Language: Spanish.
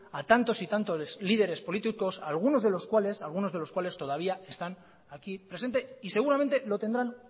a tantos y tantos lideres políticos algunos de los cuales todavía están aquí presentes y seguramente lo tendrán